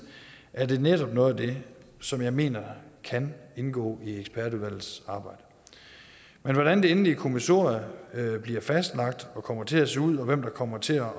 er det netop noget af det som jeg mener kan indgå i ekspertudvalgets arbejde men hvordan det endelige kommissorie bliver fastlagt og kommer til at se ud og hvem der kommer til at